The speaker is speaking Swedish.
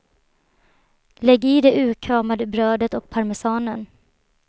Lägg i det urkramade brödet och parmesanen.